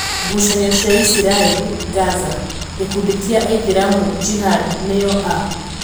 Ngucanio cia Israeli, Gaza:Gikundi kia aithiramu Jihad nio a?